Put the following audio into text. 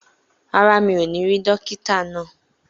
Rárá, mi ò ní rí dókítà náà.